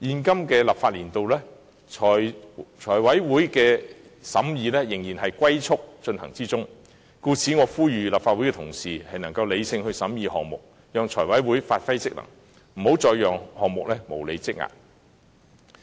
今個立法年度財委會的審議工作仍然以"龜速"進行，故此我呼籲立法會同事能理性地審議項目，讓財委會發揮職能，不要再讓項目無理積壓。